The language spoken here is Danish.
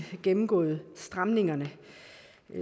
gennemgået stramningerne